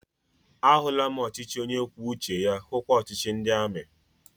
A hụla m ọchịchị onye kwuo uche ya, hukwa ọchịchị ndị amị